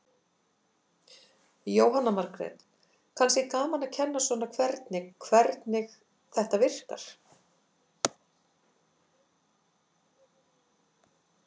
Jóhanna Margrét: Kannski gaman að kenna svona hvernig, hvernig þetta virkar?